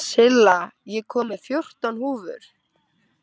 Silla, ég kom með fjórtán húfur!